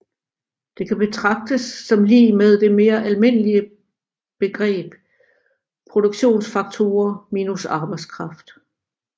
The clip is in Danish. Det kan betragtes som lig med det mere almene begreb produktionsfaktorer minus arbejdskraft